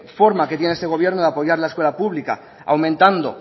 forma que tiene este gobierno de apoyar la escuela pública aumentando